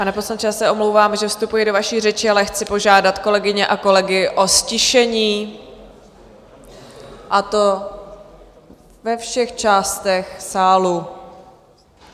Pane poslanče, já se omlouvám, že vstupuji do vaší řeči, ale chci požádat kolegyně a kolegy o ztišení, a to ve všech částech sálu.